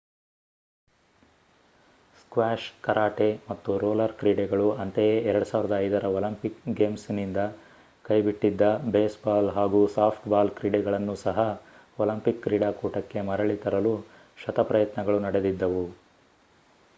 squash karate ಮತ್ತು roller ಕ್ರೀಡೆಗಳು ಅಂತೆಯೇ 2005 ರ ಒಲಿಂಪಿಕ್ ಗೇಮ್ಸ್‌ನಿಂದ ಕೈಬಿಟ್ಟಿದ್ದ ಬೇಸ್‌ಬಾಲ್ ಹಾಗೂ ಸಾಫ್ಟ್‌ಬಾಲ್ ಕ್ರೀಡೆಗಳನ್ನು ಸಹ ಒಲಿಂಪಿಕ್ ಕ್ರೀಡಾಕೂಟಕ್ಕೆ ಮರಳಿ ತರಲು ಶತಪ್ರಯತ್ನಗಳು ನಡೆದಿದ್ದವು